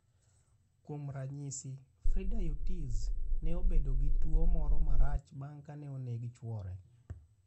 Kuom ranyisi, Frida Urtiz, ne obedo gi tuwo moro marach bang' kane oneg chwore.